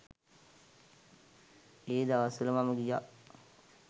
ඒ දවස්වල මම ගියා.